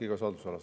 Rene Kokk, palun!